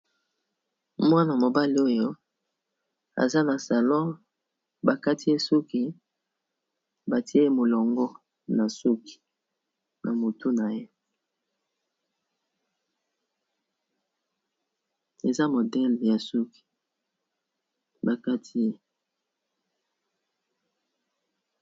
mwana mobali oyo aza na salon bakati esuki batie ye molongo na suki na motu na ye eza modele ya suki bakatiye